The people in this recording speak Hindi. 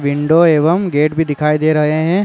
विंडो एवं गेट भी दिखाई दे रहे हैं।